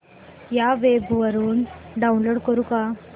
या वेब वरुन डाऊनलोड करू का